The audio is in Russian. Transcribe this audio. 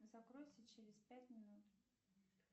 закройся через пять минут